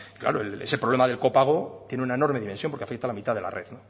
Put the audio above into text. claro ese problema del copago tiene una enorme dimensión porque afecta a la mitad de la red